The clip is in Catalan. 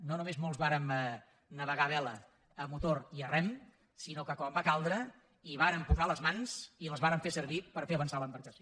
no només molts vàrem navegar a vela a motor i a rem sinó que quan va caldre hi vàrem posar les mans i les vàrem fer servir per fer avançar l’embarcació